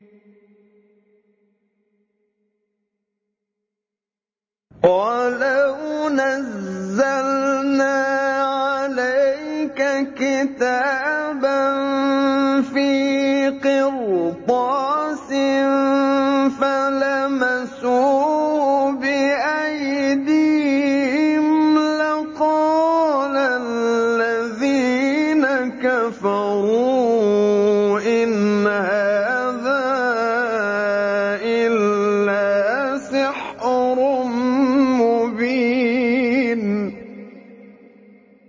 وَلَوْ نَزَّلْنَا عَلَيْكَ كِتَابًا فِي قِرْطَاسٍ فَلَمَسُوهُ بِأَيْدِيهِمْ لَقَالَ الَّذِينَ كَفَرُوا إِنْ هَٰذَا إِلَّا سِحْرٌ مُّبِينٌ